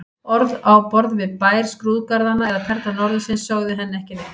Orð á borð við Bær skrúðgarðanna eða Perla norðursins sögðu henni ekki neitt.